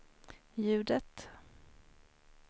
ljudet